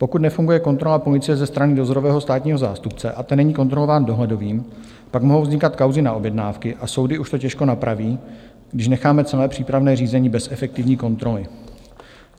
Pokud nefunguje kontrola policie ze strany dozorového státního zástupce a ten není kontrolován dohledovým, pak mohou vznikat kauzy na objednávky a soudy už to těžko napraví, když necháme celé přípravné řízení bez efektivní kontroly.